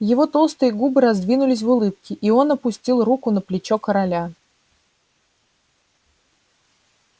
его толстые губы раздвинулись в улыбке и он опустил руку на плечо короля